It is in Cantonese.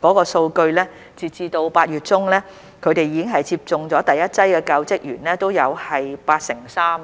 的數據，截至8月中，已經接種第一劑的教職員也有八成三。